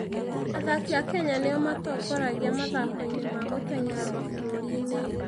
Athaki a Kenya nĩo matongoragia mathako-inĩ ma gũteng'era mabũrũri.